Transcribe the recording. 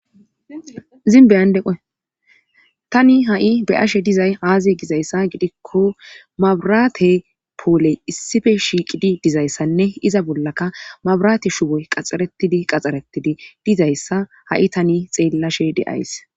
zin beyandeqoe tani ha7i be ashe dizay aaziye gizayssa gidikko mabraate pooley issife shiiqidi dizayssanne iza bollaka mabraate shuboy qaxxaretidi qaxxarettidi dizayssa ha7i tani xeellashe deays